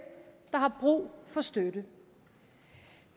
der har brug for støtte